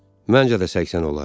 Məncə də 80 olar.